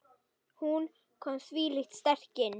Hún kom þvílíkt sterk inn.